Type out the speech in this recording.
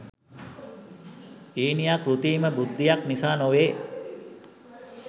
ඊනියා කෘතීම බුද්ධියක් නිසා නොවේ